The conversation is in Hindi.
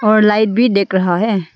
और लाइट भी दिख रहा है।